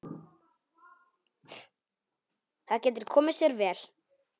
Það getur komið sér vel.